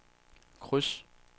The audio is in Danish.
kryds